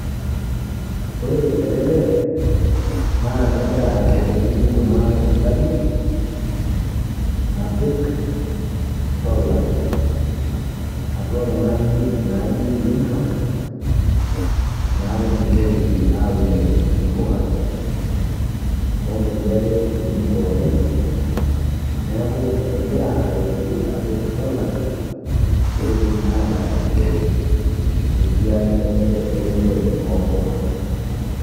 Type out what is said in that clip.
Ore ele lee naa kegira aretoki kuna tasati apik solar atua kuna ajijik naji greenhouse naunishoreki aunie mpuka o nkulie ake tokitin pookin. Neeku egira aretoki apik solar peetum ataashishore te siai enye eunore o mpuka.